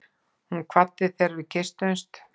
Hún kvaddi þegar við kysstumst.